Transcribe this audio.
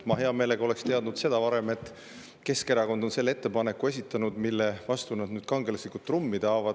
Ma hea meelega oleksin teadnud seda varem, et Keskerakond on esitanud selle ettepaneku, mille vastu nad nüüd kangelaslikult trummi taovad.